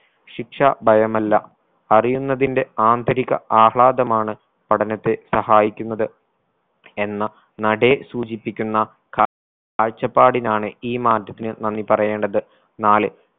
ശിക്ഷ ഭയമില്ല അറിയുന്നതിന്റെ ആന്തരിക ആഹ്ളാദമാണ് പഠനത്തെ സഹായിക്കുന്നത് എന്ന നടേ സൂചിപ്പിക്കുന്ന ക കാഴ്ചപ്പാടിനാണ് ഈ മാറ്റത്തിന് നന്ദി പറയേണ്ടത് നാല്